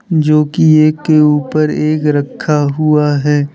जोकि एक के ऊपर एक रक्खा हुआ है।